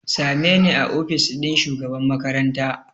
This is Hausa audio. Same ni a ofis ɗin shugaban makaranta!